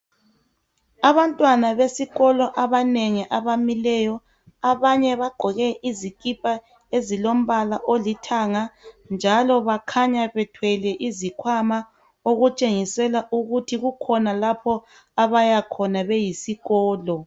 Abantwana besikolo abanengi abamileyo abanye bagqoke izikipa ezilombala olithanga njalo bakhanya bethwele izikhwama okutshengisela ukuthi kukhona lapha abayakhona beyisikolo.